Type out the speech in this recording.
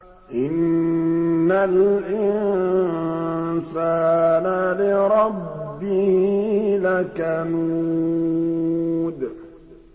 إِنَّ الْإِنسَانَ لِرَبِّهِ لَكَنُودٌ